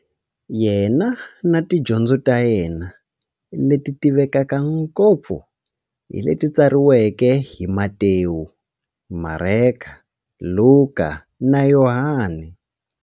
Yena na tidyondzo ta yena, leti tivekaka ngopfu hi leti tsariweke hi-Matewu, Mareka, Luka, na Yohani.